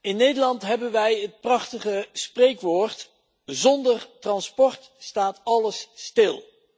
In Nederland hebben wij het prachtige spreekwoord zonder transport staat alles stil.